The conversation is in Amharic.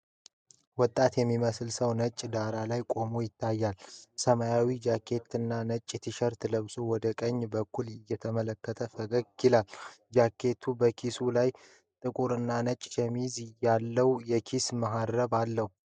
ወጣት የሚመስል ሰው ነጭ ዳራ ላይ ቆሞ ይታያል። ሰማያዊ ጃኬት እና ነጭ ቲሸርት ለብሶ ወደ ቀኝ በኩል እየተመለከተ ፈገግ ይላል። ጃኬቱ በኪሱ ላይ ጥቁር እና ነጭ ሸሚዝ ያለው የኪስ መሀረብ አለው።